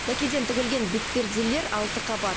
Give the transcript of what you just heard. дәкеден тігілген бетперделер алты қабат